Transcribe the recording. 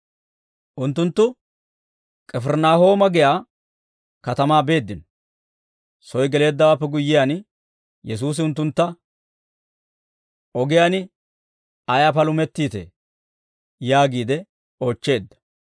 Unttunttu K'ifirinaahooma giyaa katamaa beeddino; soy geleeddawaappe guyyiyaan, Yesuusi unttuntta, «Ogiyaan ayaa palumettiitee?» yaagiide oochcheedda.